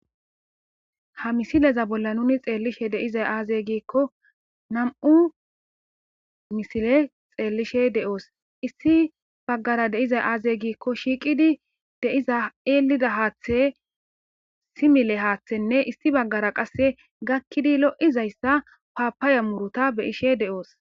ha misileza bolla nuni xeellishe deizay aazey giikko nam7u misile xeellishe de7oos issi baggara deizay aazey giikko shiiqidi deiza eelida haaththe simile haaththenne issi baggara qasse gakkidi lo7izayssa paapaya muruta beyishe de7oos